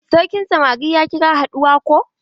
Sarkin samari ya kira haduwa ko?